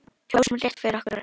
Kjósum rétt fyrir okkur öll.